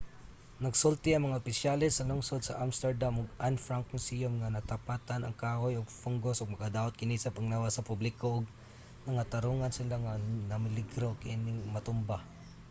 nagsulti ang mga opisyales sa lungsod sa amsterdam ug anne frank museum nga nataptan ang kahoy og fungus ug makadaot kini sa panglawas sa publiko ug nangatarongan sila nga nameligro kining matumba